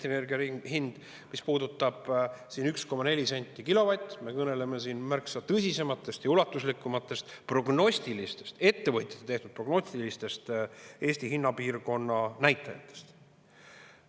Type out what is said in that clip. Mis puudutab 1,4 senti kilovatist, siis me kõneleme siin märksa tõsisematest ja ulatuslikumatest ettevõtjate tehtud prognostilistest Eesti hinnapiirkonna näitajatest.